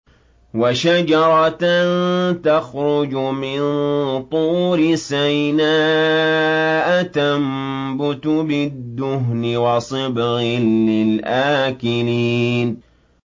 وَشَجَرَةً تَخْرُجُ مِن طُورِ سَيْنَاءَ تَنبُتُ بِالدُّهْنِ وَصِبْغٍ لِّلْآكِلِينَ